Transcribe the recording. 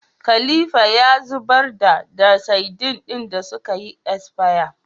Khalifa ya zubar da da sadin din da sukayi asfaya